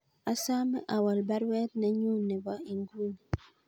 Asome awol baruet nenyun nebo inguni